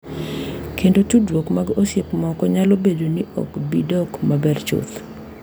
Kendo tudruok mag osiep moko nyalo bedo ni ok bi dok maber chuth.